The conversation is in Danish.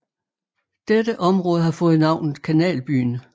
Dette område har fået navnet Kanalbyen